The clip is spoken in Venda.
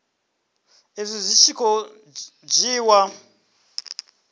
izwi zwi tshi khou dzhiiwa